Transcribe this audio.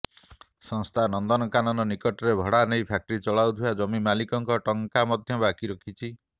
ସଂସ୍ଥା ନନ୍ଦନକାନନ ନିକଟରେ ଭଡ଼ା ନେଇ ଫ୍ୟାକ୍ଟ୍ରି ଚଳାଉଥିବା ଜମି ମାଲିକଙ୍କ ଟଙ୍କା ମଧ୍ୟ ବାକି ରଖିଛି